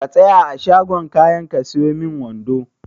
Ka tsaya a shagon kayan ka siyo min wando.